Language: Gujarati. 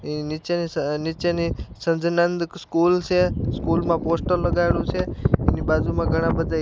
એની નીચેની સ નીચેની સજનઁદ સ્કૂલ છે સ્કૂલ માં પોસ્ટર લગાવેલું છે એની બાજુમાં ઘણા બધા --